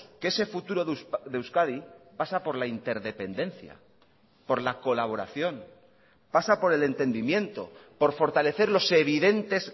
que ese futuro de euskadi pasa por la interdependencia por la colaboración pasa por el entendimiento por fortalecer los evidentes